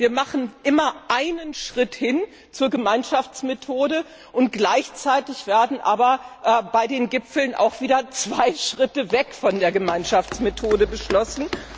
Also wir machen immer einen Schritt hin zur Gemeinschaftsmethode, gleichzeitig werden aber bei den Gipfeln auch wieder zwei Schritte weg von der Gemeinschaftsmethode beschlossen.